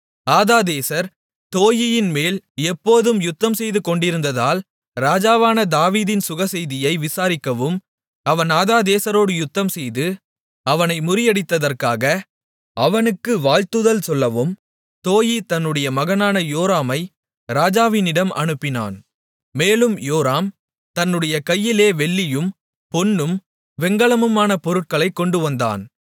ஆதாதேசர் தோயீயின்மேல் எப்போதும் யுத்தம்செய்துகொண்டிருந்ததால் ராஜாவான தாவீதின் சுகசெய்தியை விசாரிக்கவும் அவன் ஆதாதேசரோடு யுத்தம்செய்து அவனை முறியடித்ததற்காக அவனுக்கு வாழ்த்துதல் சொல்லவும் தோயீ தன்னுடைய மகனான யோராமை ராஜாவினிடம் அனுப்பினான் மேலும் யோராம் தன்னுடைய கையிலே வெள்ளியும் பொன்னும் வெண்கலமுமான பொருட்களைக் கொண்டுவந்தான்